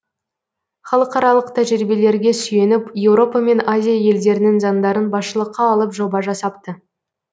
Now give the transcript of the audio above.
халықаралық тәжірбиелерге сүйеніп еуропа мен азия елдерінің заңдарын басшылыққа алып жоба жасапты